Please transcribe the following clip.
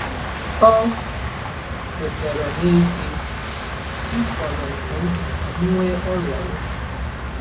Ọ kwetara n’ezie: “M fọrọ nke nta ka m nwee ọrịa obi.”